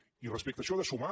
i respecte a això de sumar